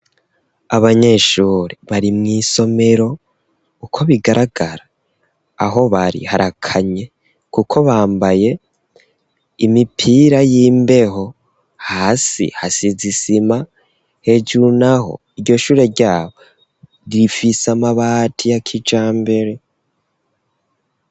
Abanyeshure bari mw'isomero, uko bigaragara aho bari harakanye kuko bambaye imipira y'imbeho, hasi hasize isima, hejuru n'aho iryo shure ryaho rifise amabati ya kijambere.